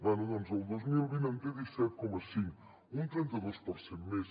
bé doncs el dos mil vint en té disset coma cinc un trenta dos per cent més